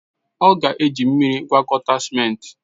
Ọ ga-eji mmiri gwakọta ciment.